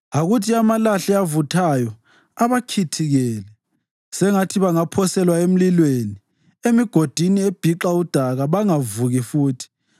Akuthi amalahle avuthayo abakhithikele; sengathi bangaphoselwa emlilweni, emigodini ebhixa udaka, bangavuki futhi.